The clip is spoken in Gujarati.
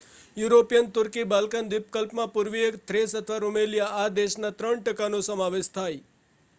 યુરોપિયન તુર્કી બાલ્કન દ્વીપકલ્પમાં પુર્વીય થ્રેસ અથવા રૂમેલિયા માં દેશનાં 3% નો સમાવેશ થાય